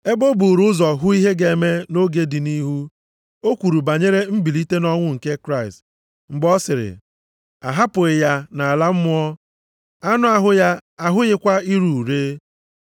Ebe o buuru ụzọ hụ ihe ga-eme nʼoge dị nʼihu, o kwuru banyere mbilite nʼọnwụ nke Kraịst, mgbe ọ sịrị, a hapụghị ya nʼala mmụọ; anụ ahụ ya ahụghịkwa ire ure.